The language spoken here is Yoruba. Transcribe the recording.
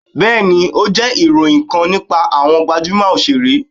bẹẹni, o jẹ iroyin kan nipa awọn gbajumo osere.